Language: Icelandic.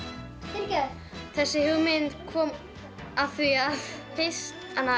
fyrirgefðu þessi hugmynd kom af því að fyrst